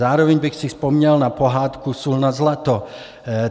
Zároveň bych si vzpomněl na pohádku Sůl nad zlato.